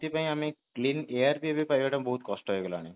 ସେଠି ପାଇଁ ଆମେ clean air purify କରିବା ଟା ବହୁତ କଷ୍ଟ ହେଇ ଗଲାଣି